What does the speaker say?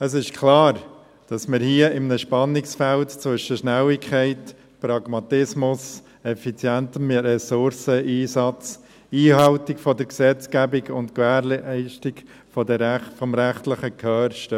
Es ist klar, dass wir hier in einem Spannungsfeld zwischen Schnelligkeit, Pragmatismus, effizientem Ressourceneinsatz, Einhaltung der Gesetzgebung sowie Gewährung des rechtlichen Gehörs stehen.